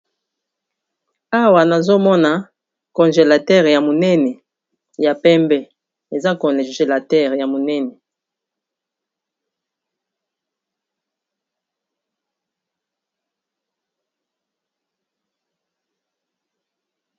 Awa nazomona congelateur ya monene ya pembe eza congelater ya monene machine oyo esalisaka bato pona kotiya biloko nakati po biloko ekoma malili